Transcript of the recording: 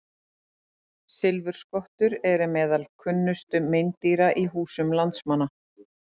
Silfurskottur eru meðal kunnustu meindýra í húsum landsmanna.